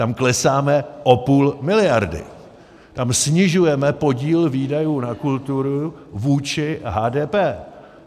Tam klesáme o půl miliardy, tam snižujeme podíl výdajů na kulturu vůči HDP.